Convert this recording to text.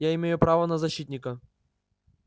я имею право на защитника